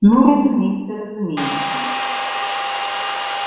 ну разумеется разумеется